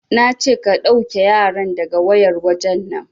Nace ka ɗauke yaran daga wayar wajen nan!